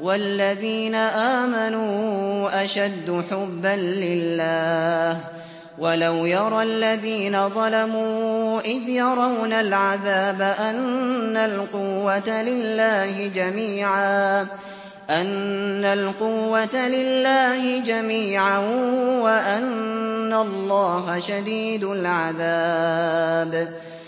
وَالَّذِينَ آمَنُوا أَشَدُّ حُبًّا لِّلَّهِ ۗ وَلَوْ يَرَى الَّذِينَ ظَلَمُوا إِذْ يَرَوْنَ الْعَذَابَ أَنَّ الْقُوَّةَ لِلَّهِ جَمِيعًا وَأَنَّ اللَّهَ شَدِيدُ الْعَذَابِ